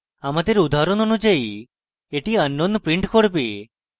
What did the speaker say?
আমাদের উদাহরণ অনুযায়ী এটি unknown print করবে